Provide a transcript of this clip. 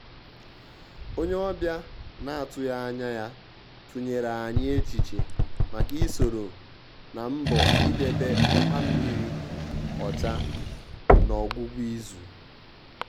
ónyé ọ́bị̀à nà-àtụ́ghị́ ányà yá tụ́nyèrè ànyị́ échíchè màkà ị́ sòrò nà mbọ̀ ídébè ọ́tàmmírí ọ́chà nà ọ́gwụ́gwụ́ ízù.